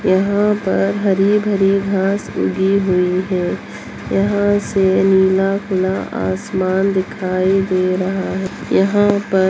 यहाँ पर हरी-भरी घास उगी हुई हैं यहाँ से नीला खुला आसमान दिखाई दे रहा है यहाँ पर --